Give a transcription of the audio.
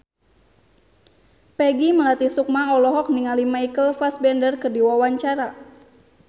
Peggy Melati Sukma olohok ningali Michael Fassbender keur diwawancara